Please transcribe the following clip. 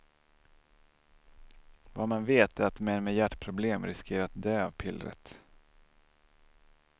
Vad man vet är att män med hjärtproblem riskerar att dö av pillret.